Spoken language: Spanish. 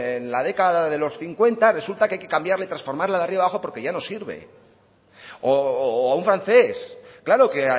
en la década de los cincuenta resulta que hay que cambiarla transformarla de arriba abajo porque ya no sirve o a un francés claro que